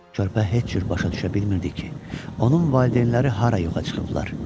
Körpə heç cür başa düşə bilmirdi ki, onun valideynləri hara yoxa çıxıblar.